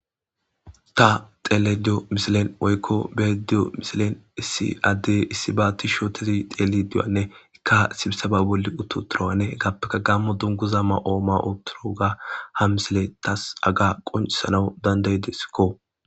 Ta xelediyo misilen woykko bediyo misilen issi adde issi ba ti shootezi xeeli duwanne ikka sibisaba bolli uttu turawanne gappeka gammo dunguza ma7ooma uturu ga ha misile tas aga qoncisanaw danday desikko.